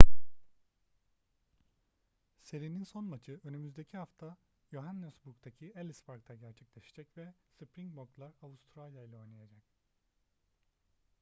serinin son maçı önümüzdeki hafta johannesburg'daki ellis park'ta gerçekleşecek ve springbok'lar avustralya'yla oynayacak